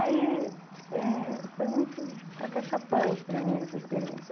Aí, foi muito, é, foi muito acachapante para mim essa experiência.